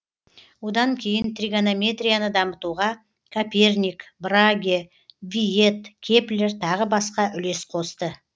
одан кейін тригонометрияны дамытуға коперник браге виет кеплер тағы басқа үлес қосты